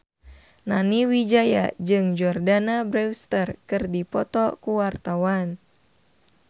Nani Wijaya jeung Jordana Brewster keur dipoto ku wartawan